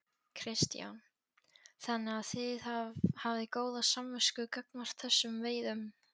Kristján: Þannig að þið hafið góða samvisku gagnvart þessum veiðum?